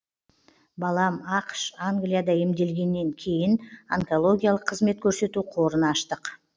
балам ақш англияда емделгеннен кейін онкологиялық қызмет көрсету қорын аштық